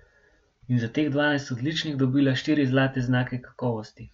In za teh dvanajst odličnih dobila štiri zlate znake kakovosti.